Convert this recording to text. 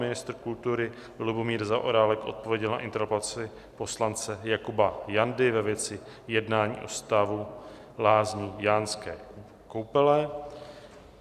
Ministr kultury Lubomír Zaorálek odpověděl na interpelaci poslance Jakuba Jandy ve věci jednání o stavu lázní Jánské Koupele.